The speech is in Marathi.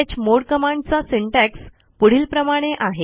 चमोड कमांडचा सिंटॅक्स पुढीलप्रमाणे आहे